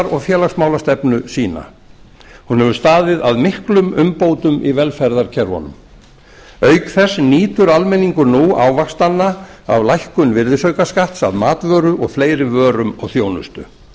og félagsmálastefnu sína hún hefur staðið að miklum umbótum í velferðarkerfunum auk þess nýtur almenningur nú ávaxtanna af lækkun virðisaukaskatts af matvöru og fleiri vörum og þjónustu